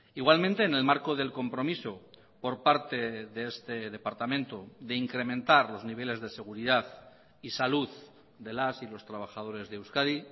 igualmente en el marco del compromiso por parte de este departamento de incrementar los niveles de seguridad y salud de las y los trabajadores de euskadi